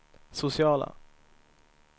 sociala